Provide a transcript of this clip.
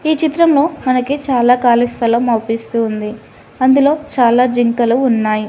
ఈ చిత్రంలో మనకి చాలా కాళీ స్థలం అవ్పిస్తూ వుంది అందులో చాలా జింకలు ఉన్నాయ్.